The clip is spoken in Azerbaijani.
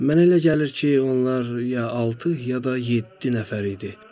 Mənə elə gəlir ki, onlar ya altı, ya da yeddi nəfər idi.